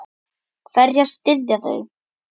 Hverja styðja þau?